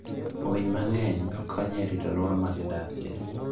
Winy mang'eny konyo e rito alwora ma gidakie.